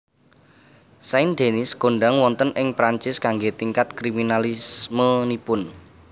Saint Denis kondhang wonten ing Perancis kanggé tingkat kriminalismenipun